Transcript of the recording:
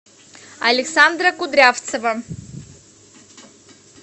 александра кудрявцева